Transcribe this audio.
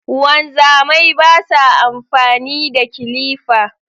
Wanzamai basa amfani da kilifa